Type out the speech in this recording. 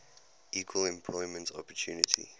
equal employment opportunity